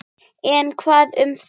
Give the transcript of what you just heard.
En hvað um það!